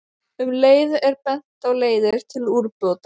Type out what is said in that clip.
Um leið er bent á leiðir til úrbóta.